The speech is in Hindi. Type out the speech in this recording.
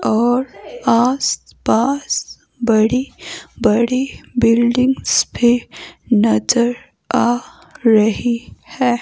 और आसपास बड़ी बड़ी बिल्डिंग्स भी नजर आ रही है।